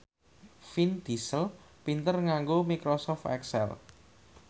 Vin Diesel pinter nganggo microsoft excel